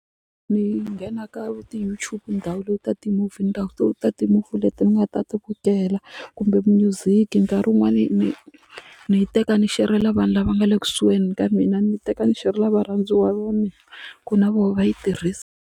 Ni nghena ka ti-YouTube ni download-a ti-movie ni download-a ti-movie leti ni nga ta ti vukela kumbe music nkarhi wun'wani ni ni teka ni xerhela vanhu lava nga le kusuhani ka mina ni teka ni xerhela varhandziwa va mina ku na voho va yi tirhisa.